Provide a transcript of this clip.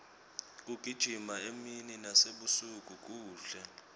kugijima emini nasebusuku kuhle